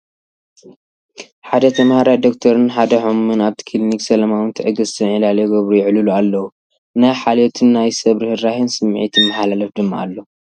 ሓደ ተማሃራይ ዶክተርን ሓደ ሕሙምን ኣብቲ ክሊኒክ ሰላማውን ትዕግስትን ዕላል ይገብሩ/ይዕልሉ ኣለዉ። ናይ ሓልዮትን ናይ ሰብ ርህራሄን ስምዒት ይመሓላለፍ ድማ ኣሎ።